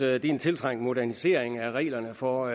at det er en tiltrængt modernisering af reglerne for